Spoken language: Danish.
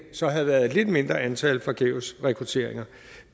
så havde været et lidt mindre antal forgæves rekrutteringer